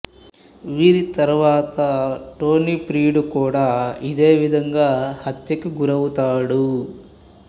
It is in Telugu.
వీరి తర్వాత టోనీ ప్రియుడు కూడా ఇదే విధంగా హత్యకి గురవుతాడు